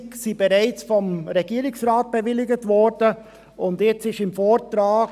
600 000 Franken wurden vom Regierungsrat bereits bewilligt, und jetzt steht im Vortrag: